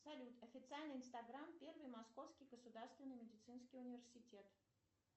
салют официальный инстаграм первый московский государственный медицинский университет